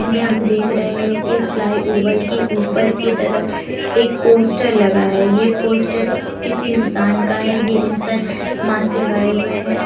इनमे हम देख रहे है कि फ्लाई ओवर के ऊपर के तरफ एक पोस्टर लगा है ये पोस्टर कि-किसी इंसान का है ये इंसान मास्क लगाए हुए है।